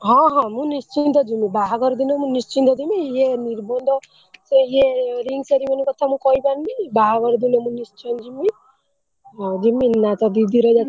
ହଁ ହଁ ମୁ ନିଶ୍ଚିନ୍ତ ଜିମି ବାହାଘର ଦିନ ମୁ ନିଶ୍ଚିନ୍ତ ଯିମି ଇଏ ନିର୍ବନ୍ଧ ସିଏ ଇଏ ring ceremony କଥା ମୁ କହିପାରୁନି ବାହାଘର ଦିନ ମୁ ନିଶ୍ଚୟ ଜିମି ହଁ ଜିମିନୀ ନା ତୋ ଦିଦି ର ଯେତେବେଳେ,